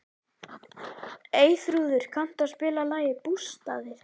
Eyþrúður, kanntu að spila lagið „Bústaðir“?